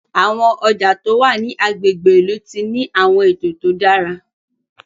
Àwọn ọjà tó wá ní àgbègbè ilú tí ní awọn eto tó dára